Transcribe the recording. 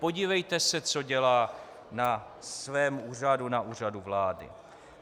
Podívejte se, co dělá na svém úřadu, na Úřadu vlády.